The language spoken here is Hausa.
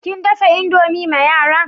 Kin dafa indomie ma yara?